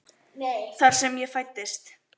Þar sem ég fæddist.